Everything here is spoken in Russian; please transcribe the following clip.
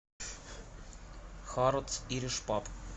харатс ириш паб